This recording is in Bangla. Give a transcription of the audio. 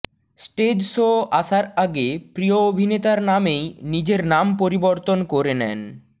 স্টেজ শো আসার আগে প্রিয় অভিনেতার নামেই নিজের নাম পরিবর্তন করে নেন